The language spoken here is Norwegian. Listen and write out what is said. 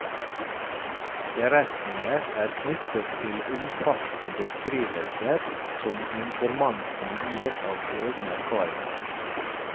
Beretninger er knyttet til omfattende beskrivelser som informanten gir av egne erfaringer.